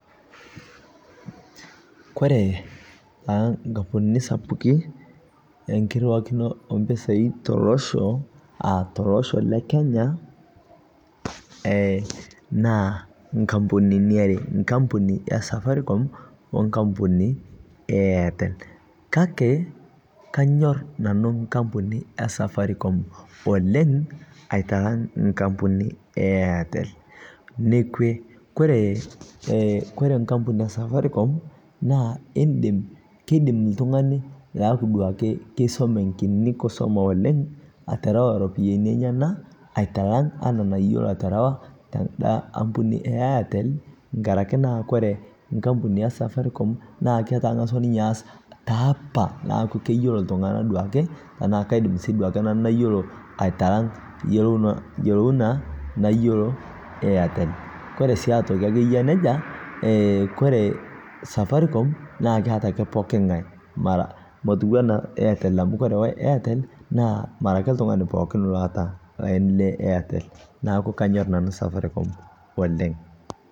Kore taa nkampunini sapukin engiriwakino oo pisaai tolosho aa tolosho le Kenya EEE naa nkampunini aare, nkampuni esafaricom oh enkapuni ee Airtel kake kanyorr nanu nkampuni ee safaricom oleng aitalang ne Airtel, nekwe kore nkampuni esafaricom naa keidim oltungani keidim duaake keisome kini kiini kusoma oleng aterewa ropiyiani enyena aitalang enaa enayieu laterewa teda ampuni ee Airtel nkaraki naa kore nkampuni esafaricom naa etangasua ninye aas taa apa niaaku keyiolo iltungana duaake tena kaidim si duake mayiolo aitalang yieuna nayieu Airtel, kore sii aitoki eyiaa nejia kore safaricom naa keeta ake pooki ngae motuii anaa Airtel amu kore Airtel naa mara ake oltungani pookin laata laini le Airtel neeku kanyorr nanu safaricom oleng.